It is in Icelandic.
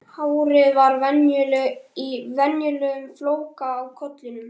Hárið var í vanalegum flóka á kollinum.